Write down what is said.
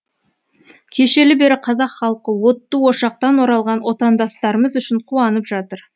кешелі бері қазақ халқы отты ошақтан оралған отандастарымыз үшін қуанып жатыр